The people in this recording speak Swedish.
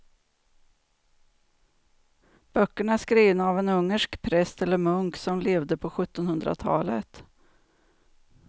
Böckerna är skrivna av en ungersk präst eller munk som levde på sjuttonhundratalet.